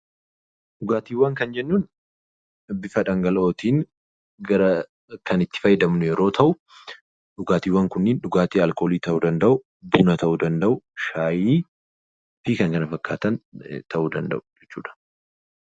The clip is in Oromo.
Dhugaatiiwwan kan jennuun bifa dhangala'ootiin kan itti fayyadamnu yeroo ta'u, dhugaatiiwwan kunniin dhugaatii alkoolii ta'uu danda'u, al alkoolii ta'uu danda'u shaayii fi kan kana fakkaatan ta'uu danda'u jechuudha.